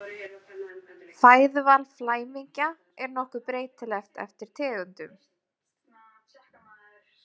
Fæðuval flæmingja er nokkuð breytilegt eftir tegundum.